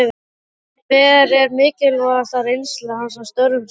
Hver er mikilvægasta reynsla hans af störfum sínum?